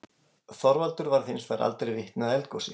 Þorvaldur varð hins vegar aldrei vitni að eldgosi.